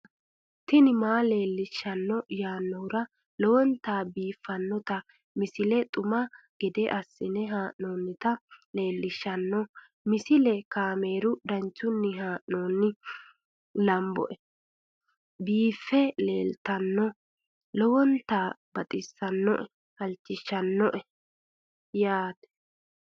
tini maa leelishshanno yaannohura lowonta biiffanota misile xuma gede assine haa'noonnita leellishshanno misileeti kaameru danchunni haa'noonni lamboe biiffe leeeltannoqolten lowonta baxissannoe halchishshanno yaate